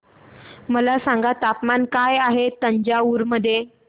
मला सांगा तापमान काय आहे तंजावूर मध्ये